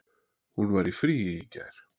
Hún var í fríi í gær.